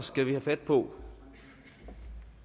skal have fat på